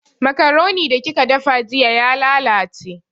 Makuroni da kika dafa jiya ya lalace